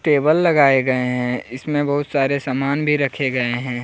Table लगाए गए हैं इसमें बहुत सारे सामान भी रखे गए हैं।